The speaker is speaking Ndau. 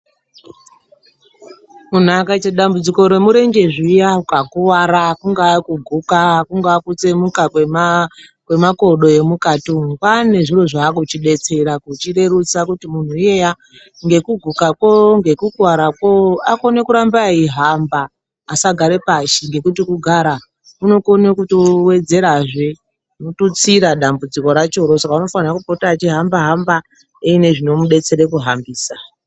Munhu akaite dambudziko remurenje zviya ukakuwara kungava kuguka kungava kutsemuka kwemakodo emukati umu. Kwaaa ngezviro zvaa kuchidetsera kuchirerutsa kuti muntu iyeya ngekugukako, ngekukuwarako, akone kuramba ayihamba, asagare pashi ngekuti kugara kunokone kotowedzerazve, wotutsira dambudziko rakona saka unofanire kupota achihamba hamba eine zvinomudetsera kuhambisa.